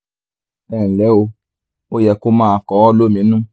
ẹ nlẹ́ o ó yẹ kó máa kọ ọ́ lóminú